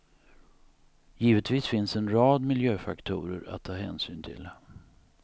Givetvis finns en rad miljöfaktorer att ta hänsyn till.